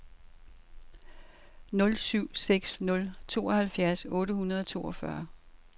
nul syv seks nul tooghalvfjerds otte hundrede og toogfyrre